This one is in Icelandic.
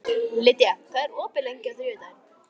Lydia, hvað er opið lengi á þriðjudaginn?